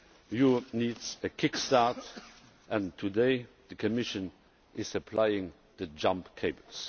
Europe needs a kick start, and today the Commission is applying the jump leads.